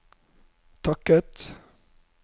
takket